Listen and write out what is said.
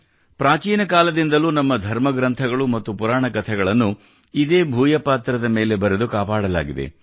ಪ್ರಾಚೀನ ಕಾಲದಿಂದಲೂ ನಮ್ಮ ಧರ್ಮಗ್ರಂಥಗಳು ಮತ್ತು ಪುರಾಣ ಕಥೆಗಳನ್ನು ಇದೇ ಭೂಯಪಾತ್ರದ ಮೇಲೆ ಮೇಲೆ ಬರೆದು ಉಳಿಸಲಾಗಿದೆ